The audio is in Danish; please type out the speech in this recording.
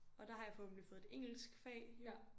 Og der har jeg forhåbentlig fået et engelsk fag